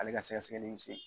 Ale ka sɛgɛsɛgɛli in